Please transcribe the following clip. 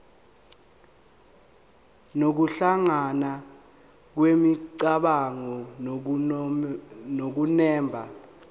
nokuhlangana kwemicabango nokunemba